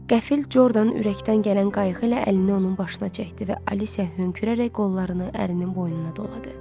Qəfil Jordanın ürəkdən gələn qayğı ilə əlini onun başına çəkdi və Alicia hönkürərək qollarını ərinin boynuna doladı.